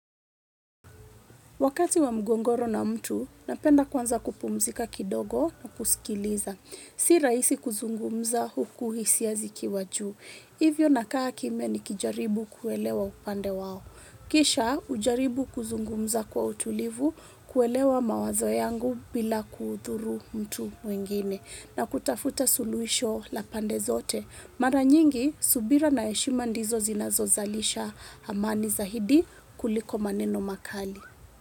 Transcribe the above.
Wakati wa mgogoro na mtu napenda kuanza kupumzika kidogo kusikiliza si rahisi kuzungumza huku hisia zikiwa juu. Hivyo nakaa kimya nikijaribu kuelewa upande wao. Kisha hujaribu kuzungumza kwa utulivu kuelewa mawazo yangu bila kudhuru mtu mwingine na kutafuta suluhisho la pande zote. Mara nyingi, subira na heshima ndizo zinazozalisha amani zaidi kuliko maneno makali.